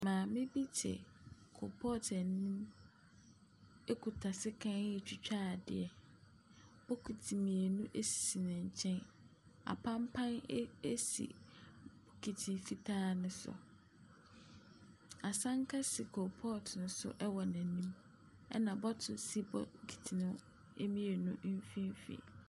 Maame te koropɔɔto anim akuta sekan retwitwa adeɛ. Bokiti mmienu asi ne nkyɛn. Apampa asi bokiti fitaa no so, asanka si koropɔɔto no so ɛwɔ n'anim, ɛna bottle asi bokiti mmienu no mfimfini.